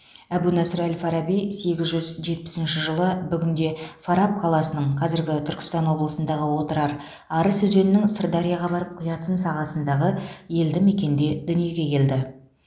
әбу насыр әл фараби сегіз жүз жетпісінші жылы бүгінде фараб қаласының қазіргі түркістан облысындағы отырар арыс өзенінің сырдарияға барып құятын сағасындағы елді мекенде дүниеге келді